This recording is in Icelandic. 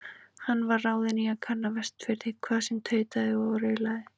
Hann var ráðinn í að kanna Vestfirði, hvað sem tautaði og raulaði.